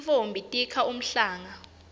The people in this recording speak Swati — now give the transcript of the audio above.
tintfombi tikha umhlanga